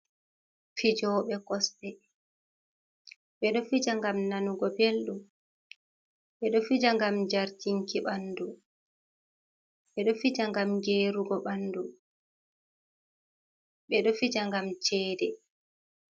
Fijoɓe kosɗe ɓe ɗo fija ngam nanugo belɗum, ɓe ɗo fija ngam jartinki ɓandu, ɓe ɗo fija ngam gerugo ɓandu, ɓe ɗo fija ngam cede.